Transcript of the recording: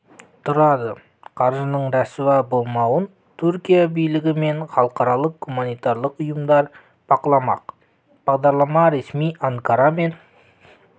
тұрады қаржының рәсуа болмауын түркия билігі мен халықаралық гуманитарлық ұйымдар бақыламақ бағдарлама ресми анкара мен